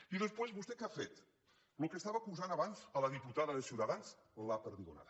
i després vostè què ha fet del que acusava abans la diputada de ciutadans la perdigonada